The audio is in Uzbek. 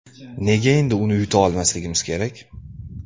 Nega endi uni yuta olmasligimiz kerak?